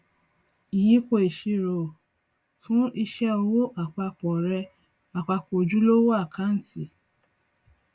ìyípo ìṣirò fún iṣẹ ọwọ àpapọ rẹ àpapọ ojúlówó àkáǹtì